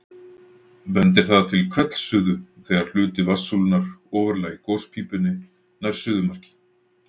Bendir það til hvellsuðu þegar hluti vatnssúlunnar ofarlega í gospípunni nær suðumarki.